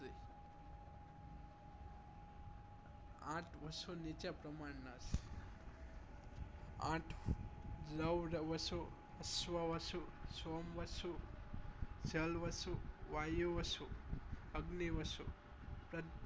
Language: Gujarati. આંઠ વશું નીચે પ્રમાણ નાં છે આંઠ લવ્ડ વંશુ અશ્વ વશું સોમ વશું જળ વશું વાયુ વશું અગ્નિ વશું